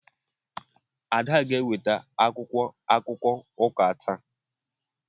Ada ga-eweta akwụkwọ akụkọ ụka taa.